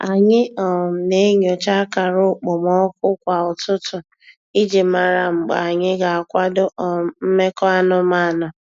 Anyị um na-enyocha akara okpomọkụ kwa ụtụtụ iji mara mgbe anyị ga-akwadọ um mmekọ anụmanụ.